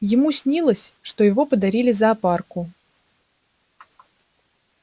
ему снилось что его подарили зоопарку